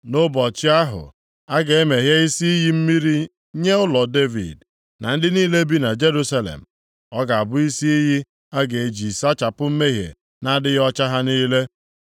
“Nʼụbọchị ahụ, a ga-emeghe isi iyi mmiri nye ụlọ Devid na ndị niile bi na Jerusalem. Ọ ga-abụ isi iyi a ga-eji sachapụ mmehie na adịghị ọcha ha niile.